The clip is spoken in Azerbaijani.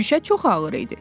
Şüşə çox ağır idi.